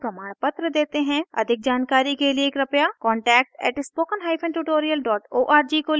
अधिक जानकारी के लिए कृपया contact @spokentutorial org को लिखें